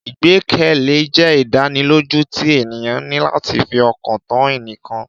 Ìgbẹ́kẹ̀lé jẹ́ ìdánilójú tí ènìyàn ní láti fi ọkàn tán ẹnìkan